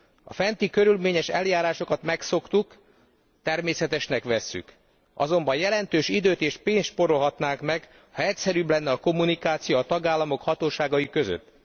A fenti körülményes eljárásokat megszoktuk, természetesnek vesszük. Azonban jelentős időt és pénzt spórolhatnánk meg, ha egyszerűbb lenne a kommunikáció a tagállamok hatóságai között.